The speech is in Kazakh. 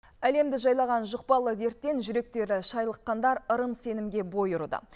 әлемді жайлаған жұқпалы дерттен жүректері шайлыққандар ырым сенімге бой ұрды